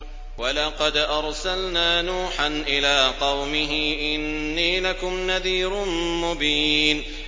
وَلَقَدْ أَرْسَلْنَا نُوحًا إِلَىٰ قَوْمِهِ إِنِّي لَكُمْ نَذِيرٌ مُّبِينٌ